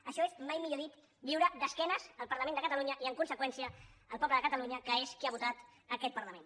això és mai millor dit viure d’esquenes al parlament de catalunya i en conseqüència al poble de catalunya que és qui ha votat aquest parlament